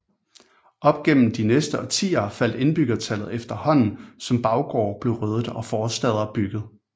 Op gennem de næste årtier faldt indbyggertallet efterhånden som baggårde blev ryddet og forstæder bygget